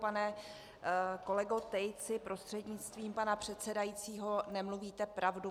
Pane kolego Tejci prostřednictvím pana předsedajícího, nemluvíte pravdu.